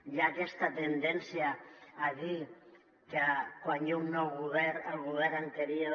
hi ha aques·ta tendència a dir que quan hi ha un nou govern el govern anterior